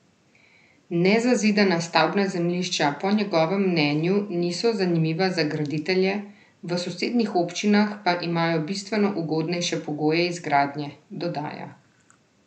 Nezazidana stavbna zemljišča po njegovem mnenju niso zanimiva za graditelje, v sosednjih občinah pa imajo bistveno ugodnejše pogoje izgradnje, dodaja.